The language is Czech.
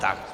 Tak.